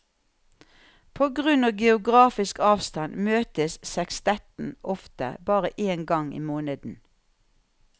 På grunn av geografisk avstand møtes sekstetten ofte bare én helg i måneden.